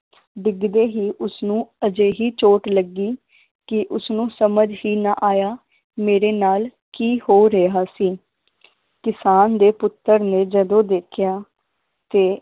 ਡਿੱਗਦੇ ਹੀ ਉਸਨੂੰ ਅਜਿਹੀ ਚੋਟ ਲੱਗੀ ਕਿ ਉਸਨੂੰ ਸਮਝ ਹੀ ਨਾ ਆਇਆ ਮੇਰੇ ਨਾਲ ਕੀ ਹੋ ਰਿਹਾ ਸੀ ਕਿਸਾਨ ਦੇ ਪੁੱਤਰ ਨੇ ਜਦੋਂ ਦੇਖਿਆ ਤੇ